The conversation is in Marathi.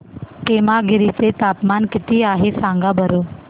पेमगिरी चे तापमान किती आहे सांगा बरं